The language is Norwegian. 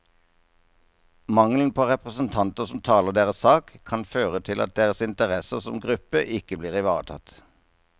Mangelen på representanter som taler deres sak, kan føre til at deres interesser som gruppe ikke blir ivaretatt.